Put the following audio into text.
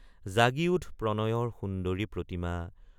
জাগি উঠ প্ৰণয়ৰ সুন্দৰি প্ৰতিমা।